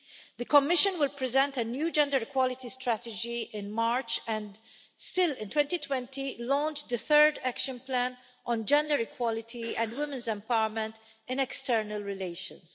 The Commission will present a new gender equality strategy in March, and still in 2020, launch the third action plan on gender equality and women's empowerment in external relations.